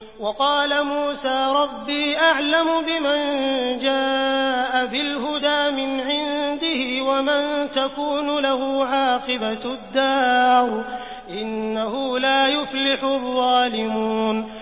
وَقَالَ مُوسَىٰ رَبِّي أَعْلَمُ بِمَن جَاءَ بِالْهُدَىٰ مِنْ عِندِهِ وَمَن تَكُونُ لَهُ عَاقِبَةُ الدَّارِ ۖ إِنَّهُ لَا يُفْلِحُ الظَّالِمُونَ